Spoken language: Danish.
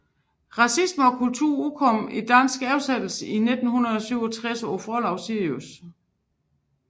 Racisme og kultur udkom i dansk oversættelse i 1967 på forlaget Sirius